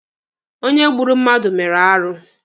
Onye gburu mmadụ mere arụ.